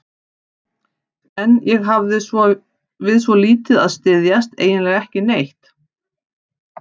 En ég hafði við svo lítið að styðjast, eiginlega ekki neitt.